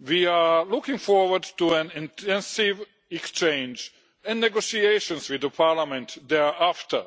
We are looking forward to an intensive exchange and negotiations with Parliament thereafter.